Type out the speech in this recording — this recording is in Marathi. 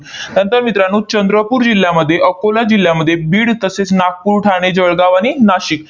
नंतर मित्रांनो, चंद्रपूर जिल्ह्यामध्ये, अकोला जिल्ह्यामध्ये, बीड, तसेच नागपूर, ठाणे, जळगाव आणि नाशिक